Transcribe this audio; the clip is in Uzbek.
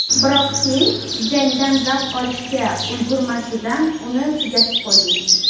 biroq sen jangdan zavq olishga ulgurmasidan uni tugatib qo‘yding.